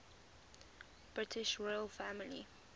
british royal family